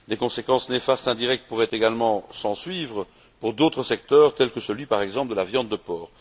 Des conséquences néfastes indirectes pourraient également s'ensuivre pour d'autres secteurs, tels que celui, par exemple, de la viande de porc.